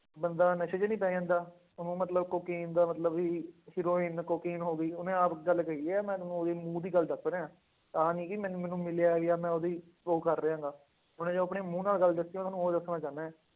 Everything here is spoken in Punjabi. ਬੰਦੇ ਨਸ਼ੇ ਚ ਨੀ ਪੈ ਜਾਂਦਾ, ਉਹਨੂੰ ਮਤਲਬ ਕੋਕੇਨ ਦਾ ਮਤਲਬ ਵੀ ਹੀਰੋਇਨ ਕੋਕੇਨ ਹੋ ਗਈ ਉਹਨੇ ਆਪ ਗੱਲ ਕਹੀ ਹੈ ਮੈਂ ਤੁਹਾਨੂੰ ਉਹਦੀ ਮੂੰਹ ਦੀ ਗੱਲ ਦੱਸ ਰਿਹਾਂ, ਆਹ ਨੀ ਕਿ ਮੈਨੂੰ ਮੈਨੂੰ ਮਿਲਿਆ ਜਾਂ ਮੈਂ ਉਹਦੀ ਉਹ ਕਰ ਰਿਹਾਂ ਗਾ, ਉਹਨੇ ਜੋ ਆਪਣੇ ਮੂੰਹ ਨਾਲ ਗੱਲ ਦੱਸੀ ਆ, ਤੁਹਾਨੂੰ ਉਹ ਦੱਸਣਾ ਚਾਹਨਾ ਹੈ।